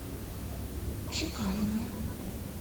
чекалине